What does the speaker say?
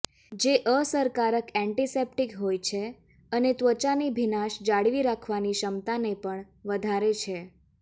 જે અસરકારક એન્ટિસેપ્ટિક હોય છે અને ત્વચાની ભીનાશ જાળવી રાખવાની ક્ષમતાને પણ વધારે છે